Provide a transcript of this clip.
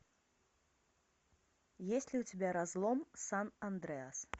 есть ли у тебя разлом сан андреас